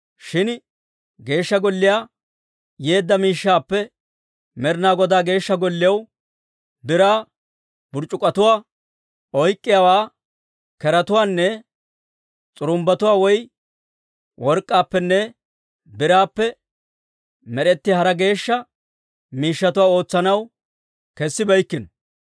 Shin Geeshsha Golliyaa yeedda miishshaappe Med'ina Godaa Geeshsha Golliyaw biraa burc'c'uk'k'otuwaa, oyk'k'iyaawaa, keretuwaanne s'urumbbatuwaa woy work'k'aappenne biraappenne med'etiyaa hara geeshsha miishshatuwaa ootsanaw kessibeykkino.